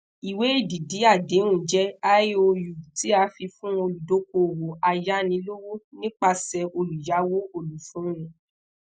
iwe edidi adehun jẹ iou ti a fi fun oludokoowo ayanilowo nipasẹ oluyawo olufunni